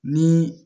Ni